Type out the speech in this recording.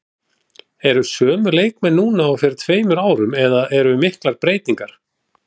Eru sömu leikmenn núna og fyrir tveimur árum eða eru miklar breytingar?